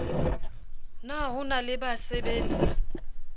na ho na le basabetsi